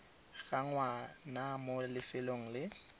ga ngwana mo lefelong le